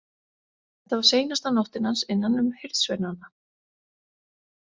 Þetta var seinasta nóttin hans innan um hirðsveinana.